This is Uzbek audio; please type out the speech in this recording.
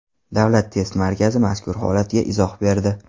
Davlat test markazi mazkur holatga izoh berdi .